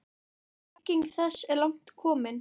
Bygging þess er langt komin.